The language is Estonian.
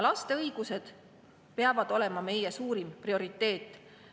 Laste õigused peavad olema meie suurim prioriteet.